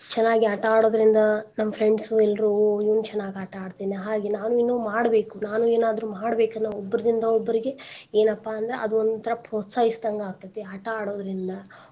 ಚನಾಗಿ ಆಟಾ ಆಡೋದ್ರಿಂದ ನಮ್ friends ಎಲ್ರೂನೂ ಇವ್ನು ಚನಾಗ್ ಆಟಾ ಆಡ್ತೀನಿ ಹಾಗೆ ನಾನು ಇನ್ನೂ ಮಾಡ್ಬೇಕು, ನಾನು ಏನಾದ್ರೂ ಮಾಡ್ಬೇಕ್ ಅನ್ನೋ ಒಬ್ಬರ್ದಿಂದಾ ಒಬ್ಬರಿಗೆ ಎನಪಾ ಅಂದ್ರ ಅದು ಒಂತರಾ ಪ್ರೊಸ್ತಾಹಿಸ್ದಂಗ್ ಆಕ್ಕೆತಿ ಆಟಾ ಆಡೋದ್ರಿಂದ.